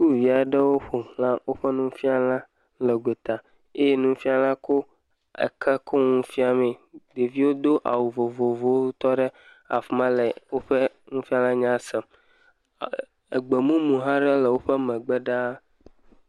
Sukuvi aɖewo ƒo xla woƒe nufiala le gota eye nufiala ko eke ko ŋu fia mee, ɖeviwo do awu vovovowo le woƒe nufiala nya sem, egbe mumu aɖe hã le woƒe megbe ɖaa.